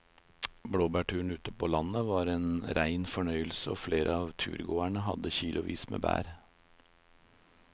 Blåbærturen ute på landet var en rein fornøyelse og flere av turgåerene hadde kilosvis med bær.